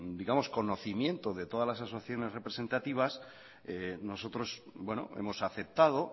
al conocimiento de todas las asociaciones representativas nosotros hemos aceptado